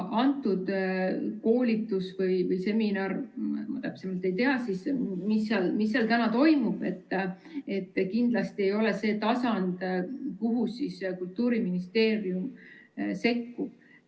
Antud koolitus või seminar – ma täpsemalt ei tea, mis seal täna toimub – kindlasti ei ole see tasand, kuhu Kultuuriministeerium sekkub.